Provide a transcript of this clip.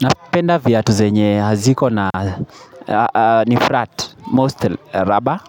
Napenda viatu zenye haziko na ni flat most rubber